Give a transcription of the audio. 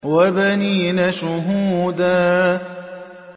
وَبَنِينَ شُهُودًا